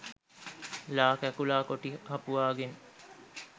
ළා කැකුළා කොටි හපුවාගෙන්